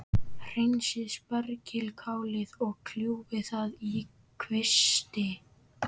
Hreinsið spergilkálið og kljúfið það í kvisti.